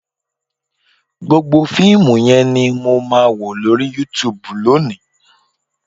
Gbogbo fíìmù yẹn ni màá wò lórí Youtube lónìí